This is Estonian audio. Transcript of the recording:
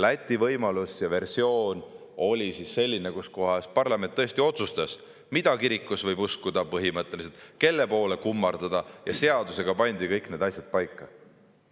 Läti võimalus ja versioon oli selline, et parlament otsustas, mida põhimõtteliselt kirikus võib uskuda, kelle poole kummardada, ja seadusega pandi kõik need asjad paika.